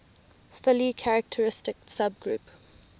fully characteristic subgroup